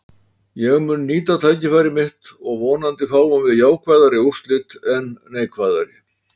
Ég mun nýta tækifæri mitt og vonandi fáum við jákvæðari úrslit en neikvæðari.